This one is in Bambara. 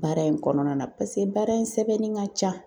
Baara in kɔnɔna na paseke baara in sɛbɛnni ka ca.